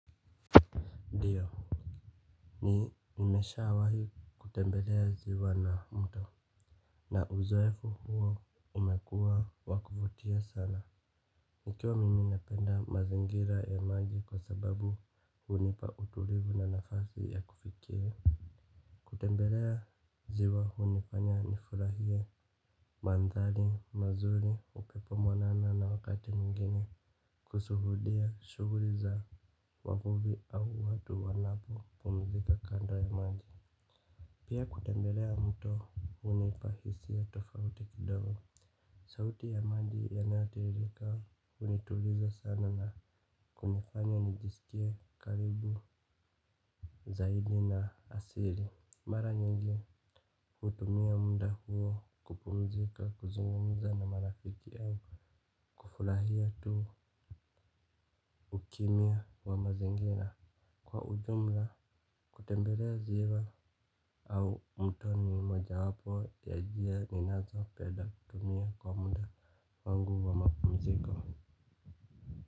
Nimeshaawahi kutembelea ziwa la mto. Na uzoefu huo umekuwa wakuvutia sana. Nikiwa mimi napenda mazingira ya maji kwa sababu hunipa utulivu na nafasi ya kufikiri. Kutembelea ziwa hunifanya nifurahie. Mandhari mazuri upepo mwanana na wakati mwigine kushuhudia shughuli za wavuvi au watu wanapo kumzika kando ya maji. Pia kutembelea mto hunipa hisia tofauti kidogo. Sauti ya maji yanayotiririka hunituliza sana na kunifanya nijisikie karibu zaidi na asili mara nyingi hutumia muda huu kupumzika kuzungumza na marafiki au kufurahia tu ukimia wa mazingira kwa ujumla kutembelea ziwa au mto ni moja wapo ya njia ninazopenda tumia kwa muda wangu wa mapumziko.